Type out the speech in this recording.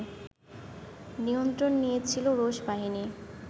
নিয়ন্ত্রণ নিয়েছিল রুশ বাহিনী